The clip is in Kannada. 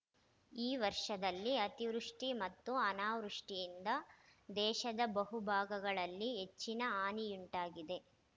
ಈ ವರ್ಷದಲ್ಲಿ ಅತಿವೃಷ್ಟಿಮತ್ತು ಅನಾವೃಷ್ಟಿಯಿಂದ ದೇಶದ ಬಹುಭಾಗಗಳಲ್ಲಿ ಹೆಚ್ಚಿನ ಹಾನಿಯುಂಟಾಗಿದೆ